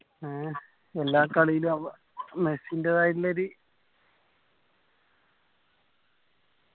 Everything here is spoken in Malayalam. ഏ എല്ലാ കാലില് അവ മെസ്സിന്റേത് ആയിട്ടുള്ളോര്